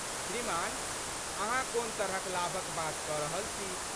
श्रीमान, अहाँ कोन तरहक लाभक बात कऽ रहल छी?